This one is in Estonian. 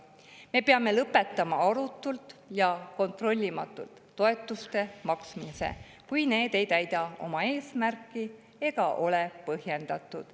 Me peame lõpetama arutult ja kontrollimatult toetuste maksmise, kui need ei täida oma eesmärki ega ole põhjendatud.